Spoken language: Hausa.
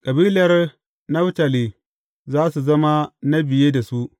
Kabilar Naftali za su zama na biye da su.